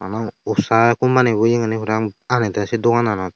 usha company yegani parapang aagedey seh dogananot.